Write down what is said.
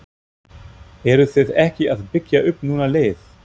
Eruð þið ekki að byggja upp núna lið?